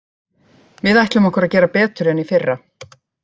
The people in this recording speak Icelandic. Við ætlum okkur að gera betur en í fyrra.